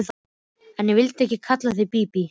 En ég vildi ekki kalla þig Bíbí.